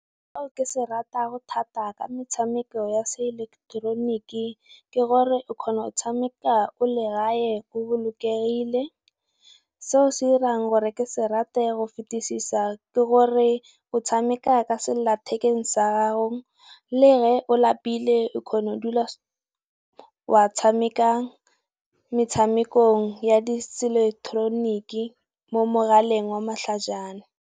Seo ke se ratang thata ka metshameko ya se ileketeroniki, ke gore o kgona go tshameka o le gae o bolokegile, seo se irang gore ke se rata ya go fetisisa ke gore o tshameka ka sellathekeng sa gago. Le ge o lapile o kgona go dula wa tshamekang metshamekong ya di se eleketeroniki mo mogaleng wa matlhajana.